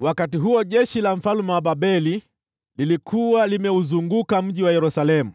Wakati huo jeshi la mfalme wa Babeli lilikuwa limeuzunguka mji wa Yerusalemu,